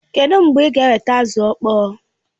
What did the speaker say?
Kedụ mgbe ị ga-eweta azụ ọkpọọ?